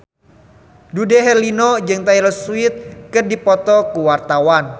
Dude Herlino jeung Taylor Swift keur dipoto ku wartawan